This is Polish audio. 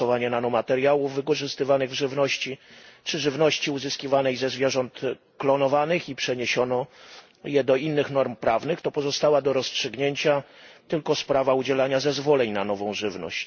stosowanie nanomateriałów wykorzystywanych w żywności czy żywności uzyskiwanej ze zwierząt klonowanych, i przeniesiono je do innych norm prawnych, to pozostała do rozstrzygnięcia tylko sprawa udzielania zezwoleń na nową żywność.